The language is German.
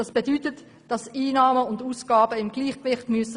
Das bedeutet, dass Einnahmen und Ausgaben im Gleichgewicht bleiben müssen.